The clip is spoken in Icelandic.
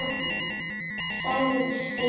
sagði Stína.